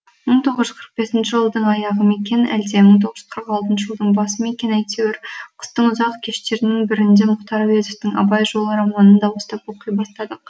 мың тоғыз жүз қырық бесінші жылдың аяғы ма екен әлде мың тоғыз жүз қырық алтыншы жылдың басы ма екен әйтеуір қыстың ұзақ кештерінің бірінде мұхтар әуезовтің абай жолы романын дауыстап оқи бастадық